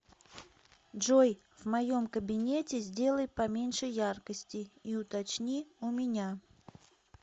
джой в моем кабинете сделай поменьше яркости и уточни у меня